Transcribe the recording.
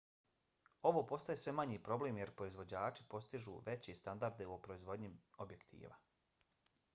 ovo postaje sve manji problem jer proizvođači postižu veće standarde u proizvodnji objektiva